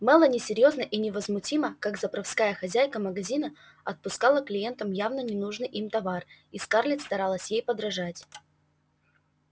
мелани серьёзно и невозмутимо как заправская хозяйка магазина отпускала клиентам явно ненужный им товар и скарлетт старалась ей подражать